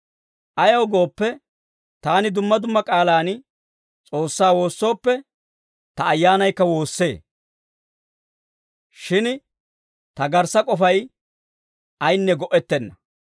Ayaw gooppe, taani dumma dumma k'aalaan S'oossaa woossooppe, ta ayyaanaykka woossee; shin ta garssa k'ofay ayinne go"ettenna.